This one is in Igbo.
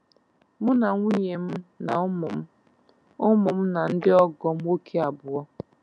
Mụ na nwunye m na ụmụ m ụmụ m na ndị ọgọ m nwoke abụọ